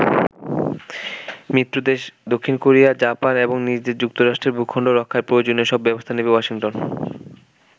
মিত্র দেশ দক্ষিণ Korea, Japan এবং নিজ দেশ যুক্তরাষ্ট্রের ভূখণ্ড রক্ষায় প্রয়োজনীয় সব ব্যবস্থা নেবে ওয়াশিংটন।